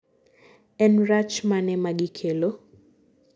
en rach mane magikelo?